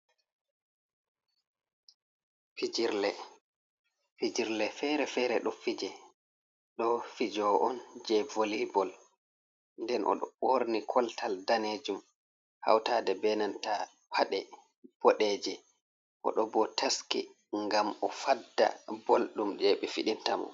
"Fijirle" Fijirle fere-fere ɗo fije ɗo fijo’on je vole bol nden oɗo ɓorni koltal danejum hautaɗe benanta paɗe ɓodeje oɗo bo taski ngam o'fadda bol ɗum je ɓe fidintamo.